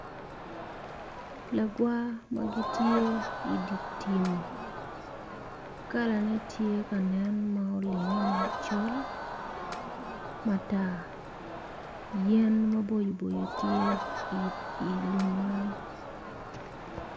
Lagwar magitye idipi kala ne tye ka nen ma olinge macol matar yen mabocoboco tye i lum man.